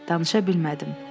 Danışa bilmədim.